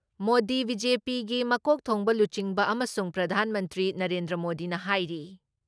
ꯃꯣꯗꯤ ꯕꯤ.ꯖꯦ.ꯄꯤꯒꯤ ꯃꯀꯣꯛ ꯊꯣꯡꯕ ꯂꯨꯆꯤꯡꯕ ꯑꯃꯁꯨꯡ ꯄ꯭ꯔꯙꯥꯟ ꯃꯟꯇ꯭ꯔꯤ ꯅꯔꯦꯟꯗ꯭ꯔ ꯃꯣꯗꯤꯅ ꯍꯥꯏꯔꯤ